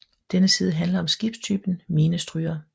Denne side handler om skibstypen minestryger